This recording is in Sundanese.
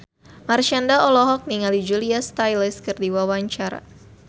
Marshanda olohok ningali Julia Stiles keur diwawancara